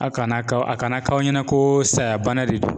A kana ka, a kana k'aw ɲɛna ko saya bana de don.